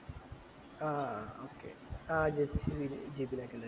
ആഹ് okay ആഹ് ജെസ് ജി ജിതിൻ ഒക്കെ ഇണ്ടായിരുന്നത്